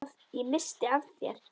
Ég missti af þér.